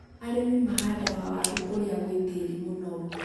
arĩmi mahandaga waaru kũria gwĩ tĩĩri mũnoru .